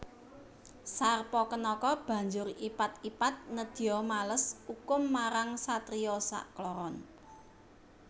Sarpakenaka banjur ipat ipat nedya males ukum marang satriya sakloron